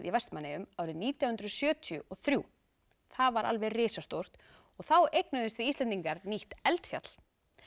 í Vestmannaeyjum nítján hundruð sjötíu og þrjú það var alveg risastórt og þá eignuðumst við Íslendingar nýtt eldfjall